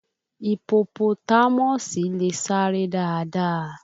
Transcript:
Ipopotámọ̀sì le sáré dáadáa